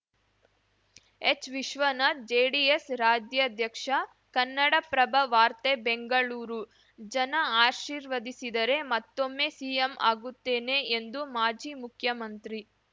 H Vishwanath JDS ರಾಜ್ಯಾಧ್ಯಕ್ಷ ಕನ್ನಡಪ್ರಭ ವಾರ್ತೆ ಬೆಂಗಳೂರು ಜನ ಆಶೀರ್ವದಿಸಿದರೆ ಮತ್ತೊಮ್ಮೆ ಸಿಎಂ ಆಗುತ್ತೇನೆ ಎಂದು ಮಾಜಿ ಮುಖ್ಯಮಂತ್ರಿ